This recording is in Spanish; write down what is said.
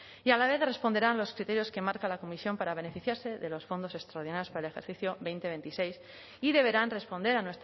y a la vez responderán los criterios que marca la comisión para beneficiarse de los fondos extraordinarios para el ejercicio dos mil veintiséis y deberán responder a